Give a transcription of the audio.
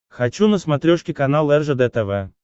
хочу на смотрешке канал ржд тв